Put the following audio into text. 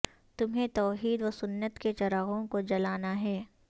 تمہیں توحید و سنت کے چراغوں کو جلانا ہے